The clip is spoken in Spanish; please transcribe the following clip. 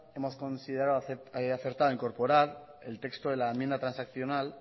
hemos considerado acertado incorporar el texto de la enmienda transaccional